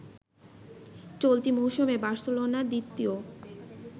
চলতি মৌসুমে বার্সেলোনা দ্বিতীয়